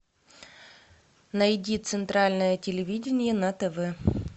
найди центральное телевидение на тв